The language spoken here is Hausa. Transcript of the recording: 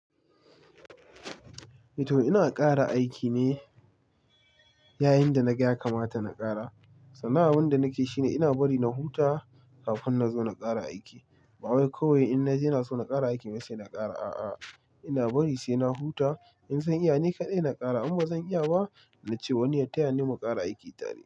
To ina ƙara aikine yayin da na ga ya kamata na ƙara. Sannan abin da nake shi ne ina bari na huta kafin na zo na ƙara aiki. Ba wai kawai in na ji ina so na ƙara aiki ne sai na kara, a'a. Ina bari sai na huta. In zan iya ni kaɗai na ƙara, in bazan iya ba, nace wai ya tayani muƙara aiki.